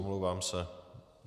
Omlouvám se.